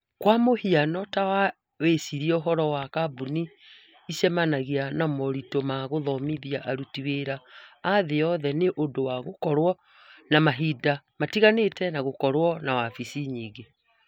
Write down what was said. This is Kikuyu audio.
Kwa mũhiano, ta wĩcirie ũhoro wa kambuni ĩcemanagia na moritũ ma gũthomithia aruti wĩra a thĩ yothe nĩ ũndũ wa gũkorũo na mahinda matiganĩte na gũkorũo na wabici nyingĩ.